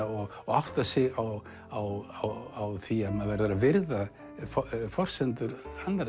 og átta sig á á því að maður verður að virða forsendur annarra